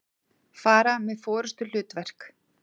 fara með forystuhlutverk.